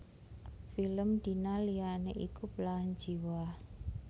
Film Dina liyané iku Belahan Jiwa